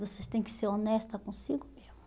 Você tem que ser honesta consigo mesmo.